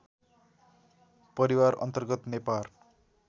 परिवार अन्तर्गत नेपार